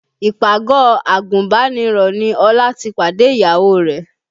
Ìpàgọ́ àgùnbánirọ̀ ni Ọlá ti pàdé ìyàwó rẹ̀